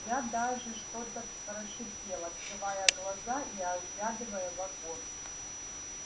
я даже что-то прошипел открывая глаза и оглядывая вагон